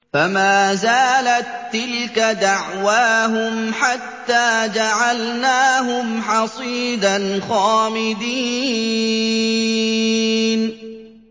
فَمَا زَالَت تِّلْكَ دَعْوَاهُمْ حَتَّىٰ جَعَلْنَاهُمْ حَصِيدًا خَامِدِينَ